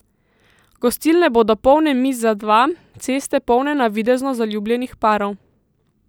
Gostilne bodo polne miz za dva, ceste polne navidezno zaljubljenih parov.